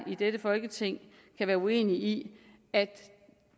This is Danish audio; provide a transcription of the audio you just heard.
i dette folketing kan være uenig i at